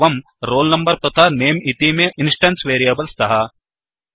एवं roll number तथा नमे इतीमे इन्स्टेन्स् वेरियेबल् स्तः